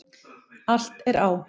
Allt á